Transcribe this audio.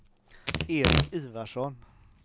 Eric Ivarsson